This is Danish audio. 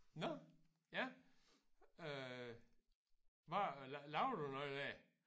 Nåh ja øh hvad laver du noget der?